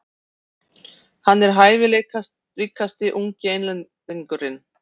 Hann er hæfileikaríkasti ungi Englendingurinn.